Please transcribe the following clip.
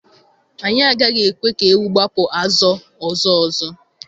Anyị agaghị ekwe ka ewu gbapụ azọ ọzọ ọzọ.